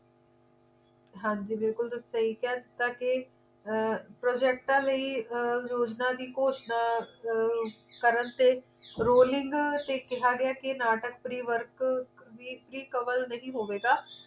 ਹਾਂ ਜੀ ਬਿਲਕੁਲ ਤੁਸੀਂ ਸਹੀ ਕਿਹਾ ਅਰ projects ਲਈ ਅਰ ਯੋਜਨਾ ਦੀ ਘੋਸ਼ਣਾ ਅਰ ਕਰਨ ਤੇ rolling ਤੇ ਕਿਹਾ ਗਿਆ ਕੇ ਨਾਟਕ pre work ਵੀ cover ਨਹੀਂ ਹੋਵੇਗਾ